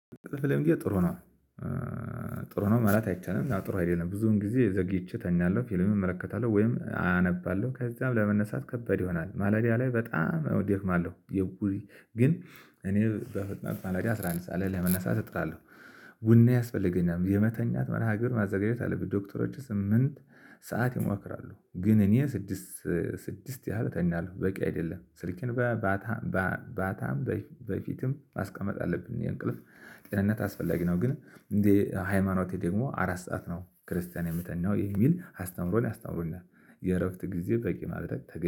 ጥሩ ነው። ጥሩ ነው ማለት አይቻልም ጥሩ አይደለም ብዙውን ጊዜ ዘግይቼ እተኛለሁ ፊልምም እመለከታለሁ ወይም አነባለሁ ከዛም ለመነሳት ከባድ ይሆናል ማለዳ ላይ በጣም ያው አደክማለሁ። ግን እኔ በፍጥነት ማለዳ አስራ አንድ ሰዓት ላይ ለመነሳት እጥራለሁ። ቡና ያስፈልገኛል የመተኛት መርሃ ግብር ማዘጋጀት አለብኝ። ዶክተሮቹ ስምንት ሰዓት ይመክራሉ ግን እኔ ስድስት ስድስት ያህል እተኛለሁ። በቂ አይደለም ስልኬን በባታም በፊትም ማስቀመጥ አለብኝ። የእንቅልፍ ጤንነት አስፈላጊ ነው። ግን እንደ ሃይማኖቴ ደግሞ አራት ሰዓት ነው ክርስቲያን የሚተኛው ነው የሚል አስተምሮ አስተምሮኛል። የእረፍት ጊዜ በቂ ማድረግ ተገቢ